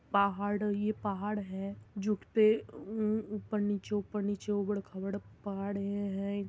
पहाड़- ये पहाड़ है झुकते ऊपर-नीचे ऊपर-नीचे ऊबड़-खाबड़ पहाड़ ये है।